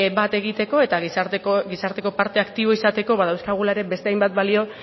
bat egiteko eta gizarteko parte aktibo izateko badauzkagula ere beste hainbat balio